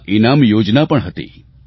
તેમાં ઇનામ યોજના પણ હતી